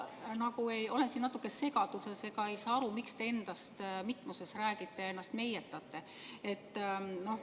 Ma olen siin natuke segaduses ega saa aru, miks te endast mitmuses räägite ja ennast meietate.